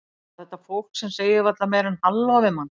Eða þetta fólk sem segir varla meira en halló við mann.